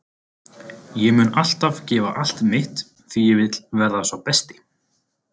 Ég mun alltaf gefa allt mitt því ég vil verða sá besti.